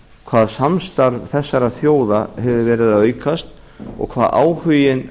hvað samstarf þessara þjóða hefur verið að aukast og hvað áhuginn